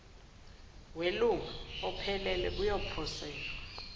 welunga ophelele kuyoposelwa